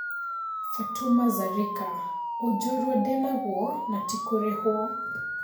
Fatuma Zarika: ũnjorua ndĩnaguo natikũrĩhwo.